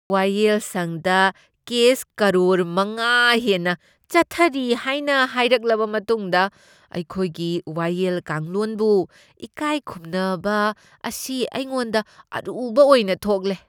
ꯋꯥꯌꯦꯜꯁꯪꯗ ꯀꯦꯁ ꯀꯔꯣꯔ ꯃꯉꯥ ꯍꯦꯟꯅ ꯆꯠꯊꯔꯤ ꯍꯥꯏꯅ ꯍꯥꯏꯔꯛꯂꯕ ꯃꯇꯨꯡꯗ ꯑꯩꯈꯣꯏꯒꯤ ꯋꯥꯌꯦꯜ ꯀꯥꯡꯂꯣꯟꯕꯨ ꯏꯀꯥꯏꯈꯨꯝꯅꯕ ꯑꯁꯤ ꯑꯩꯉꯣꯟꯗ ꯑꯔꯨꯕ ꯑꯣꯏꯅ ꯊꯣꯛꯂꯦ꯫